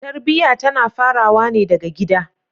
Tarbiya tana farawa ne daga gida.